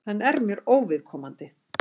Hann er mér óviðkomandi.